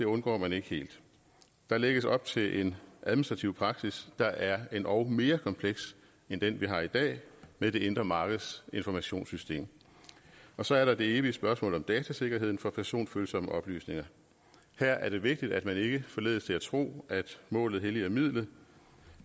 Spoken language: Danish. undgår man ikke helt der lægges op til en administrativ praksis der er endog endnu mere kompleks end den vi har i dag med det indre markeds informationssystem så er der det evige spørgsmål om datasikkerheden for personfølsomme oplysninger her er det vigtigt at man ikke forledes til at tro at målet helliger midlet